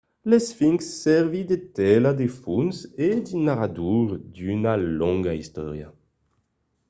l'esfinx servís de tela de fons e de narrador d'una longa istòria